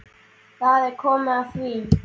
Þá er komið að því.